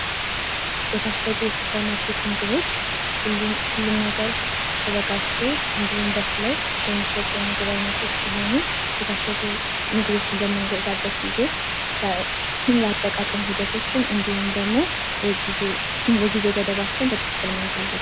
የታሸጉ የሱፐር ማርኬት ምግቦች ሁሉም ነገር ተዘጋጅቶ እንዲሁም በስለው የሚሸጡ የምግብ ዓይነቶች ሲሆኑ የታሸጉ ምግቦችን በምንገዛበት ጊዜ የአጠቃቀም ሂደቶችን እንዲሁም ደግሞ የጊዜ ገደባቸውን በጥንቃቄ ማየት አለብን።